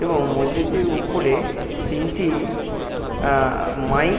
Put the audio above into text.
এবং মসজিদটির উপরে তিনটি আ মাইক ।